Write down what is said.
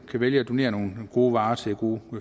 kan vælge at donere nogle gode varer til gode